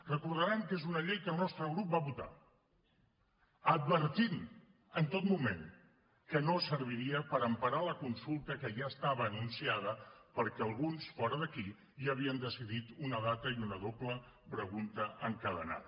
recordaran que és una llei que el nostre grup va votar advertint en tot moment que no serviria per emparar la consulta que ja estava anunciada perquè alguns fora d’aquí ja havien decidit una data i una doble pregunta encadenada